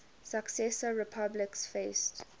successor republics faced